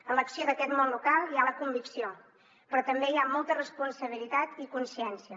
en l’acció d’aquest món local hi ha la convicció però també hi ha molta responsabilitat i consciència